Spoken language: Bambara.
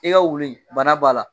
I ka wulu in bana b'a la.